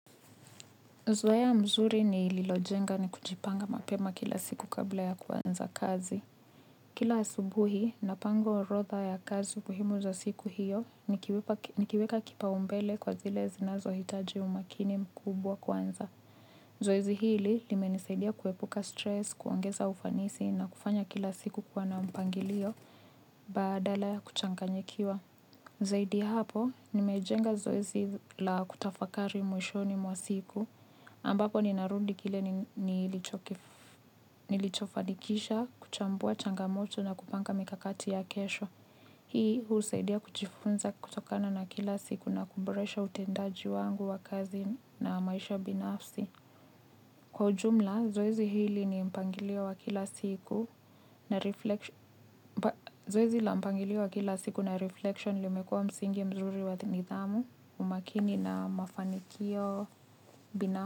Zoea mzuri nililojenga ni kujipanga mapema kila siku kabla ya kwanza kazi. Kila asubuhi napanga orodha ya kazi muhimu za siku hiyo, nikiweka kipaumbele kwa zile zinazohitaji umakini mkubwa kwanza. Zoezi hili limenisaidia kuepuka stress, kuongeza ufanisi na kufanya kila siku kuwa na mpangilio, badala ya kuchanganyikiwa. Zaidi hapo, nimejenga zoezi la kutafakari mwishoni mwa siku, ambapo ninarudi kile nilichofanikisha kuchambua changamoto na kupanga mikakati ya kesho. Hii husaidia kujifunza kutokana na kila siku na kuboresha utendaji wangu wa kazi na maisha binafsi. Kwa ujumla, zoezi hili ni mpangilio wa kila siku na reflection limekuwa msingi mzuri wa nidhamu umakini na mafanikio bina.